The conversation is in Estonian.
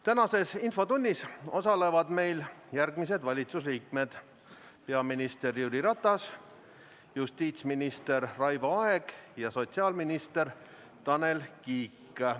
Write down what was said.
Tänases infotunnis osalevad järgmised valitsuse liikmed: peaminister Jüri Ratas, justiitsminister Raivo Aeg ja sotsiaalminister Tanel Kiik.